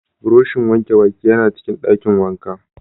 Buroshin wanke baki yana cikin dakin wanka.